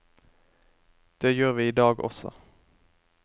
Det gjør vi i dag også.